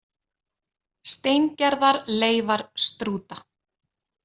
Steingerðar leifar strúta.